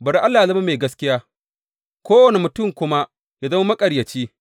Bari Allah yă zama mai gaskiya, kowane mutum kuma yă zama maƙaryaci.